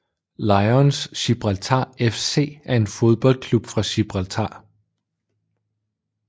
Lions Gibraltar FC er en fodboldklub fra Gibraltar